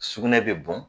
Sugunɛ bɛ bɔn